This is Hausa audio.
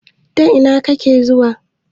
Ta ina kake zuwa?